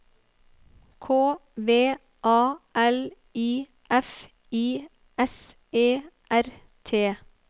K V A L I F I S E R T